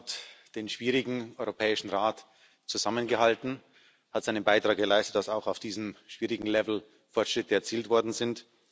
Er hat den schwierigen Europäischen Rat zusammengehalten, hat seinen Beitrag geleistet, dass auch auf diesem schwierigen Level Fortschritte erzielt worden sind.